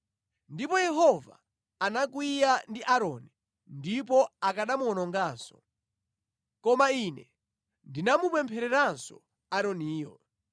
Ndipo Yehova anakwiya ndi Aaroni ndipo akanamuwononga, koma ine ndinamupemphereranso Aaroniyo.